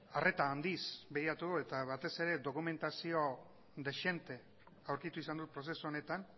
arreta handiz begiratu dugu eta batez ere dokumentazio dezente aurkitu izan dut prozesu honetan